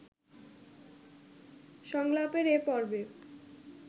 সংলাপের এ পর্বে